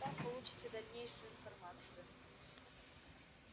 там получите дальнейшую информацию